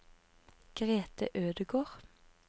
Grete Ødegård